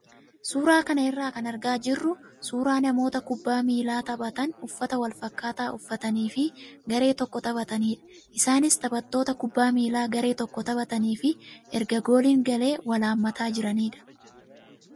Suuraa kana irraa kan argaa jirru suuraa namoota kubbaa miilaa taphatan uffata wal faakkataa uffatanii fi garee tokko taphatanidha. Isaanis taphattoota kubbaa miilaa garee tokko taphatanii fi erga gooliin galee wal hammataa jiranidha.